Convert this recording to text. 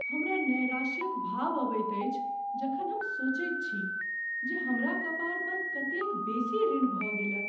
हमरा नैराश्य क भाव अबैत अछि जखन हम सोचैत छी जे हमरा कपार पर कतेक बेसी ऋण भऽ गेलय